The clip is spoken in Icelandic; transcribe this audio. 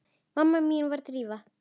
Mamma mín var díva.